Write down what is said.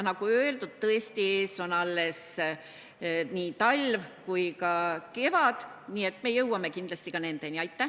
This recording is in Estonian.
Nagu öeldud, tõesti ees on veel nii talv kui ka kevad, nii et me jõuame kindlasti ka nende teemadeni.